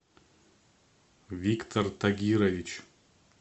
виктор тагирович